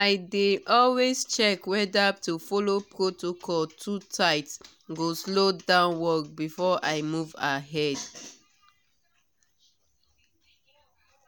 i dey always check whether to follow protocol too tight go slow down work before i move ahead.